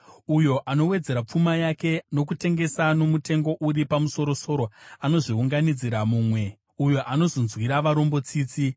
Uyo anowedzera pfuma yake nokutengesa nomutengo uri pamusoro-soro, anozviunganidzira mumwe, uyo anozonzwira varombo tsitsi.